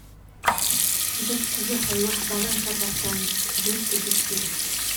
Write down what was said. Dadku waxay wax badan ka bartaan dhirta dugsiga.